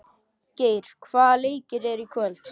Geir, hvaða leikir eru í kvöld?